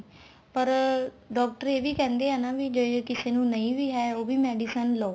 ਪਰ doctor ਇਹ ਵੀ ਕਹਿੰਦੇ ਆ ਵੀ ਜੇ ਕਿਸੇ ਨੂੰ ਨਹੀਂ ਵੀ ਹੈ ਉਹ ਵੀ medicine ਲਓ